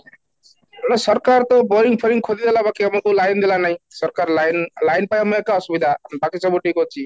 ତେଣୁ ସରକାର ତ boring ଖୋଳିଦେଲା ବାକି ଆମକୁ line ଦେଲା ନାହିଁ, ସରକାର line line ପାଇଁ ଆମେ ଏକା ଅସୁବିଧା ବାକି ସବୁ ଠିକ ଅଛି